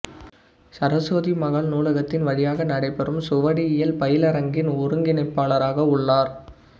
சரசுவதி மகால் நூலகத்தின் வழியாக நடைபெறும் சுவடியியல் பயிலரங்கின் ஒருங்கிணைப்பாளராக உள்ளார்